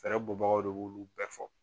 Fɛrɛbu mɔgɔ le b'u bɛɛ fɔ